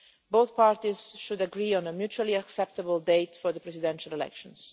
Both parties should agree on a mutually acceptable date for the presidential elections.